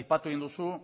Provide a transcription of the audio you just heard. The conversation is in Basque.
aipatu egin duzu